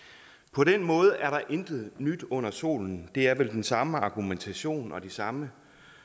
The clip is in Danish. på den måde er der intet nyt under solen det er vel den samme argumentation og den samme